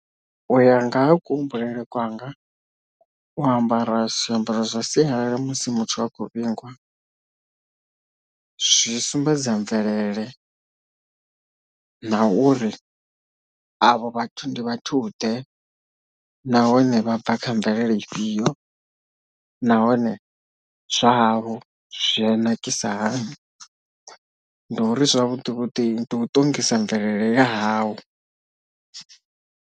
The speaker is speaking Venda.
Uya nga ha kuhumbulele kwanga u ambara zwiambaro zwa sialala musi muthu a khou vhingwa, zwi sumbedza mvelele na uri avho vhathu ndi vhathu ḓe nahone vha bva kha mvelele ifhio nahone zwahavho zwi a nakisa hani ndi uri zwavhuḓi vhuḓi ndi u ṱongisa mvelele yahau.